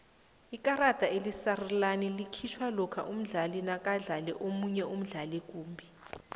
ikarada elisarulana likhitjhwa lokha umdlali nakadlale omunye umdlali kumbi